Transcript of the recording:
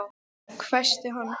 hvæsti hann.